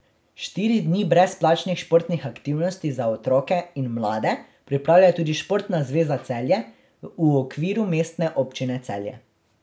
Štiri dni brezplačnih športnih aktivnosti za otroke in mlade pripravlja tudi Športna zveza Celje v okviru Mestne občine Celje.